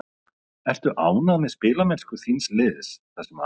Ertu ánægð með spilamennsku þíns liðs það sem af er sumri?